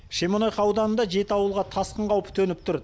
шемонайха ауданында жеті ауылға тасқын қаупі төніп тұр